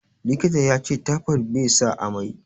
Likita yace taifod be sa amai